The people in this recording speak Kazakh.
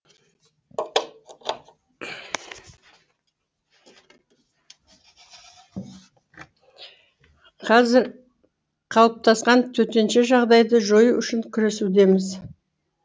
қазір қалыптасқан төтенше жағдайды жою үшін күресудеміз